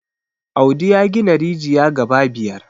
audi ya gina rijiya gaba biyar